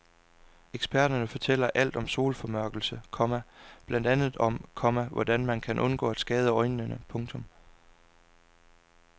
Eksperter fortæller alt om solformørkelsen, komma blandt andet om, komma hvordan man kan undgå at skade øjnene. punktum